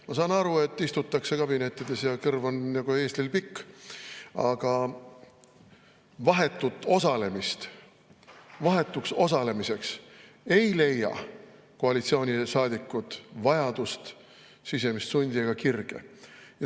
Ma saan aru, et istutakse kabinettides ja kõrv on nagu eeslil pikk, aga vahetuks osalemiseks ei koalitsioonisaadikud vajadust, sisemist sundi ega kirge.